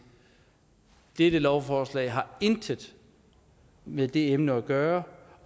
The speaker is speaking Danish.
dette lovforslag har intet med det emne at gøre